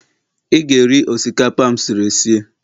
ị ga-eri osikapa a m siri sie.